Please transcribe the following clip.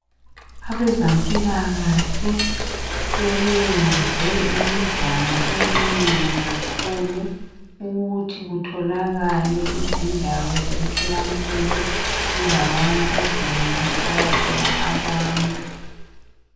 Abezempilakahle sebeyenze imizamo eminengi kakhulu ukuthi kutholakale izindawo zemtholampilo kundawana ezinengi okuhlala khona abantu